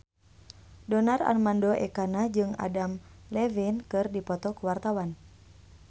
Donar Armando Ekana jeung Adam Levine keur dipoto ku wartawan